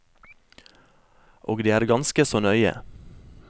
Og det er ganske så nøye.